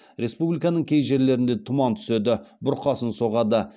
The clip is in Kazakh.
республиканың кей жерлерінде тұман түседі бұрқасын соғады